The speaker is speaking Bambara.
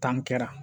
Tan kɛra